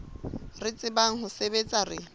re tsebang ho sebetsa re